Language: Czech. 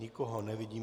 Nikoho nevidím.